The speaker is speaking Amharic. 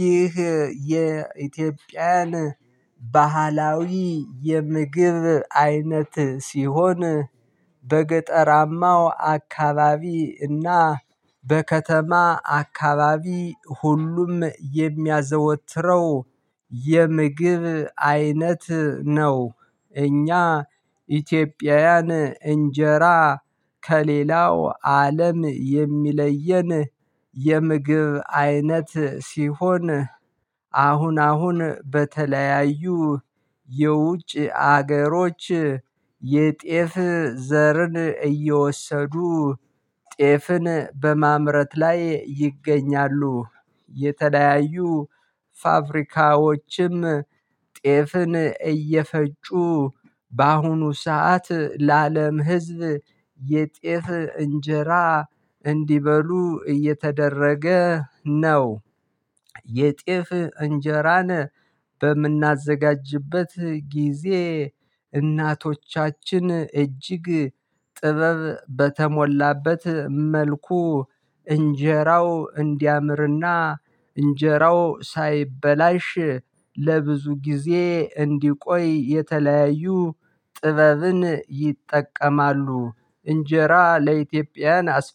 ይህ የኢትዮጵያን ባህላዊ የምግብ አይነት ሲሆን በገጠራማው አካባቢ እና በከተማ አካባቢ ሁሉም የሚያዘወትረው የምግብ አይነት ነው። እኛ ኢትዮጵያውያን እንጀራ ከሌላው አለም የሚለየን የምግብ አይነት ሲሆን። አሁን አሁን በተለያዩ የውጭ ሀገሮች የጤፍ ዘርን እየወሰዱ ጤፍን በማምረት ላይ ይገኛሉ። የተለያዩ ፋብሪካዎችም ጤፍን እየፈጩ በአሁኑ ሰዓት ለአለም ህዝብ የጤፍ እንጀራ እንዲበሉ እየተደረገ ነው። የጤፍ እንጀራን በምናዘጋጅበት ጊዜ እናቶቻችን እጅግ ጥበብ በተሞላበት መልኩ እንዲያምርና እንጀራው እንዲያምርና ሳይበላሽ ለብዙ ጊዜ እንዲቆይ የተለያዩ ጥበብን ይጠቀማሉ። እንጀራ ለኢትዮጵያን አስፈላጊ